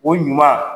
O ɲuman